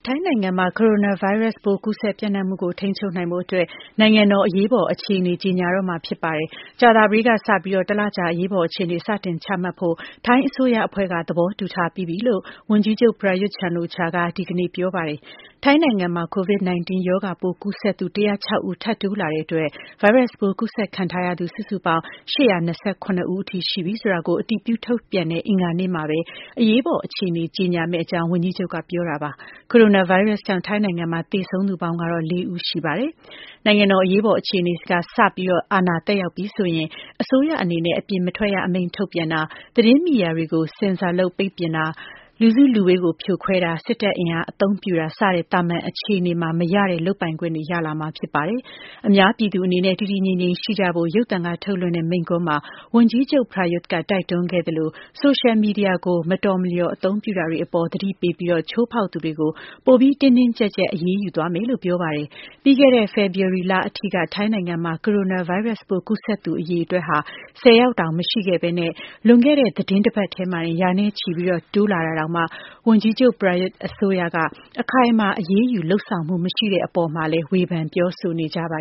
ိုင်းနိုင်ငံမှာ ကိုရိုနာဗိုင်းရပ်စ်ပိုး ပျံ့နှံ့ကူးစက်မှုကို ထိန်းချုပ်နိုင်ဖို့အတွက် နိုင်ငံတော် အရေးပေါ်အခြေအနေ ကြေညာတော့မှာဖြစ်ပါတယ်။ ကြာသပတေးနေ့ကစပြီး တလကြာ အရေးပေါ်အခြေအနေ စတင်ချမှတ်ဖို့ ထိုင်းအစိုးရအဖွဲ့က သဘောတူထားပြီးပြီ လို့ ဝန်ကြီးချုပ် Prayuth Chan-ocha က ဒီကနေ့ပြောပါတယ်။ ထိုင်းနိုင်ငံမှာ COVID-19 ရောဂါပိုး ကူးစက်သူ ၁၀၆ ဦး ထပ်တိုးလာတာကြောင့် ဗိုင်းရပ်စ်ပိုး ကူးစက်ခံထားရသူ စုစုပေါင်း ၈၂၇ ယောက်အထိ ရှိလာပြီဆိုတာ အတည်ပြုထုတ်ပြန်တဲ့ အင်္ဂါနေ့မှာပဲ အရေးပေါ်အခြေအနေ ကြေညာမယ့်အကြောင်း ဝန်ကြီးချုပ်က ပြောတာပါ။ ကိုရိုနာဗိုင်းရပ်စ်ကြောင့် ထိုင်းနိုင်ငံမှာ သေဆုံးသူပေါင်းကတော့ လေးဦး ရှိသွားပါပြီ။ နိုင်ငံတော် အရေးပေါ်အခြေအနေ စပြီး အာဏာသက်ရောက်ပြီဆိုရင်တော့ အစိုးရအနေနဲ့ အပြင်မထွက်ရအမိန့် ထုတ်ပြန်တာ၊ သတင်းမီဒီယာတွေကို ဆင်ဆာလုပ် ပိတ်ပင်တာ၊ လူစုလူဝေးတွေကို ဖြိုခွဲတာ၊ စစ်တပ်အင်အား အသုံးပြုတာ စတဲ့ သာမန်အခြေအနေမှာ မရတဲ့ လုပ်ပိုင်ခွင့်တွေ ရလာမှာဖြစ်ပါတယ်။ အများပြည်သူအနေနဲ့ တည်တည်ငြိမ်ငြိမ်ရှိကြဖို့ ရုပ်သံကထုတ်လွှင့်တဲ့ မိန့်ခွန်းမှာ ဝန်ကြီးချုပ် Prayuth က တိုက်တွန်းခဲ့သလို ဆိုရှယ်မီဒီယာကို မတော်မလျော် အသုံးပြုတာတွေအပေါ် သတိပေးပြီး ချိုးဖောက်သူတွေကို ပိုပြီး တင်းတင်းကျပ်ကျပ် အရေးယူသွားမယ်လို့ ပြောပါတယ်။ ပြီးခဲ့တဲ့ ဖေဖော်ဝါရီလအထိက ထိုင်းနိုင်ငံမှာ ကိုရိုနာဗိုင်းရပ်စ်ပိုး ကူးစက်သူအရေအတွက်ဟာ ၁၀ ယောက်တောင် မရှိခဲ့ဘဲ လွန်ခဲ့တဲ့ သီတင်းတပတ်ထဲမှာတင် ရာနဲ့ချီတိုးလာတာတောင်မှ ဝန်ကြီးချုပ် Prayuth အစိုးရက အခိုင်အမာ အရေးယူလုပ်ဆောင်မှု မရှိတဲ့အပေါ် ဝေဖန် ပြောဆိုကြပါ